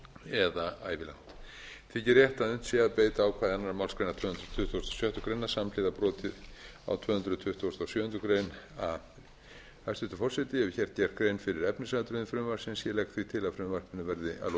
eða ævilangt þykir rétt að unnt sé að beita ákvæði annarrar málsgreinar tvö hundruð tuttugustu og sjöttu grein samhliða broti á tvö hundruð tuttugustu og sjöundu grein a hæstvirtur forseti ég hef hér gert grein fyrir efnisatriðum frumvarpsins ég legg því